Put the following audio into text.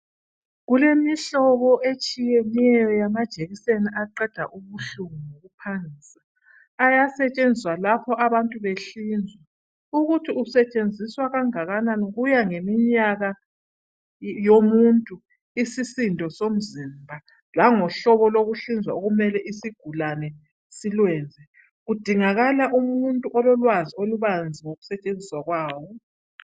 Kulemihlobo etshiyeneyo yama jekiseni aqeda ubuhlungu phansi ayasetshenziswa lapho abantu behlinzwa. Ukuthi kusetshenziswa kangakanani kuya ngeminyaka yomuntu isisindo somzimba lango hlobo lokuhlinzwa okumele isigulane silwenze. Kudingaka umuntu ololwazi olubanzi ngokusetshenziswa kwawo.